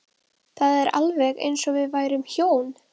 Það var alveg eins og við værum hjón.